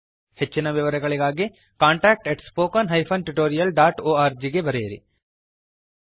ಹೆಚ್ಚಿನ ವಿವರಣೆಗಾಗಿ contactspoken tutorialorg ಗೆ ಬರೆಯಿರಿ